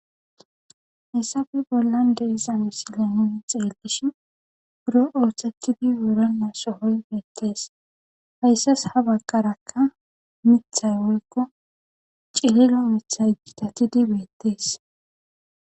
Haysappe bolan de7iza misilen nuni xelishin buro ossetidi wurena sohoy betes.haysasi ha bagaraka miththay woyko cililo miththay gitatidi betes.